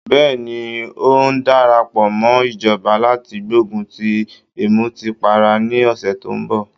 Bẹ́ẹ̀ni, ń ó darapọ̀ mọ́ ìjọba láti gbógun ti ìmùtípara ní ọ̀sẹ̀ tó ń bọ̀